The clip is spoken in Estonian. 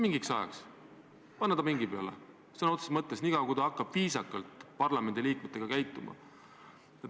Mingiks ajaks võiks ta panna ta pingi peale, kuni ta hakkab parlamendiliikmetega viisakalt käituma.